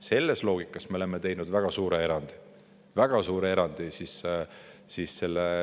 Selles loogikas me oleme teinud väga suure erandi – väga suure erandi!